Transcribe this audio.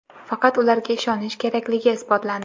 faqat ularga ishonish kerakligi isbotlandi.